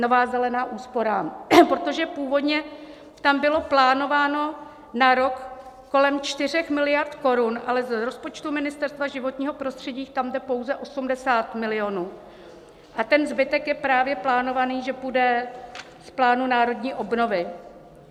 Nové zelené úsporám, protože původně tam bylo plánováno na rok kolem 4 miliard korun, ale z rozpočtu Ministerstva životního prostředí tam jde pouze 80 milionů a ten zbytek je právě plánovaný, že půjde z plánu národní obnovy.